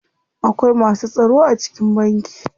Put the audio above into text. Akwai masu tsaro a cikin banki.